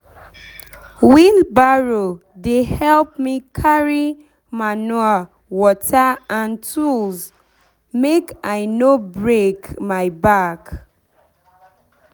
wheelbarrow dey help me carry manure water and tools make i no break my back